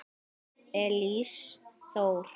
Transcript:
Elís Þór.